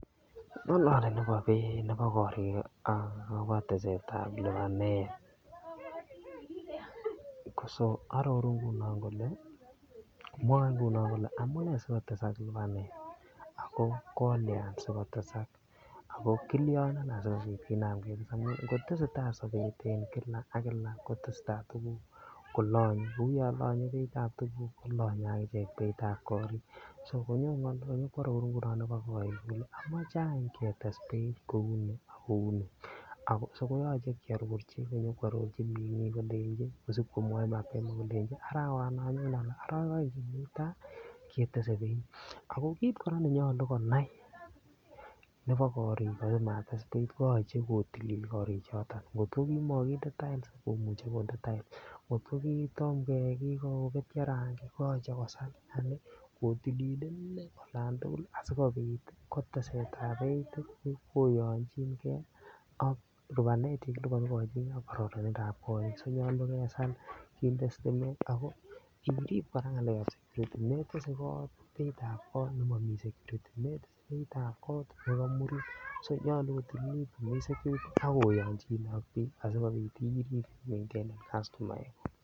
Ngolole nebo korik agobo tesetab lipanet so aroru ngunon kole mwae ngunon kole amune si kotesak lipanet ako kolyan asi kotesak ako kilyonen asikobit kinam ketes amun ngo tesetai sobet en kila ak kila kotesetai tuguk kolonye kou yon lonye beitab tuguk kolonye agichek beitab korik so nyone konyo koaroru ngunon agobo korik kole amache any ketes beit kouni ak kouni so koyoche kiarorchi konyo koarorchi bik kolenji kosib komwoi mapema kolenji arawa non nyone anan arawek aeng chemi ta ketese beit ako kit kora ne nyolu konai nebo korik yon mates beit ko koyoche kotilil korichoto ngot kimokinde tiles komuche konde tiles ngotko kitom keyai kii kobetyo rangik koyoche kosal yaani kotilil inei olon tugul asikobit ko teset ab beit koyonjin ge ak lipanet ne kiliponi ak kararindap kot konyolu kesal kinde sitimet ako irib kora ngalekab security metese beit ab kot nemomi security metese beitab kot ago komurit nyolu kotililt ak oyonchine ak bik asikobit irib kastomaek kuk